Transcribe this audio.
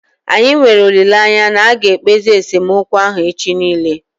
Anyị nwere olileanya na aga ekpezi esemokwu ahụ echi niile